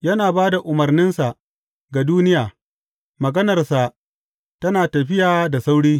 Yana ba da umarninsa ga duniya; maganarsa tana tafiya da sauri.